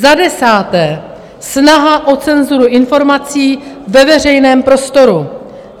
Za desáté, snaha o cenzuru informací ve veřejném prostoru.